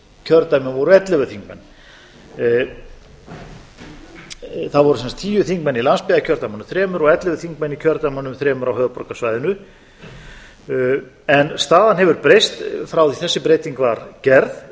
kjördæmum voru ellefu þingmenn það voru sem sagt tíu þingmenn í landsbyggðarkjördæmunum þremur og ellefu þingmenn í kjördæmum þremur á höfuðborgarsæðinu staðan hefur breyst frá í að þessi breyting var gerð